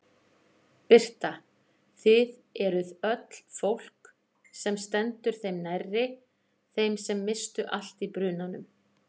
Birta: Þið eruð öll fólk sem stendur þeim nærri, þeim sem misstu allt í brunanum?